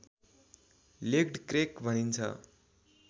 legged crack भनिन्छ